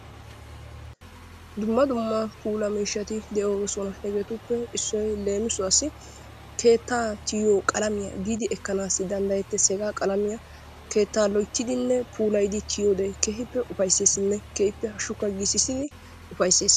Dumma dumma puulaa miishshaati de'oosona. Hegeetuppe issoy leemissuwaassi keettaa tiyiyo qalamiya giidi ekkanaassi danddayetes, hegaa qalamiya keettaa loyttidinne puulayidi tiyode keehippe ufayssessinne keehippe hashshukka giississidi ufayssiis.